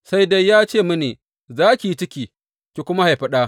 Sai dai ya ce mini, Za ki yi ciki, ki kuma haifi ɗa.